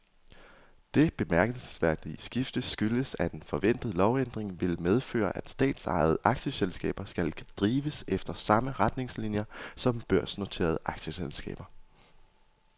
Det bemærkelsesværdige skifte skyldes, at en forventet lovændring vil medføre, at statsejede aktieselskaber skal drives efter samme retningslinier som børsnoterede aktieselskaber.